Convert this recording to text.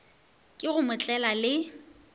ke go mo tlela le